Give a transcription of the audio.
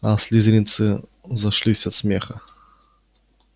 аа слизеринцы зашлись от смеха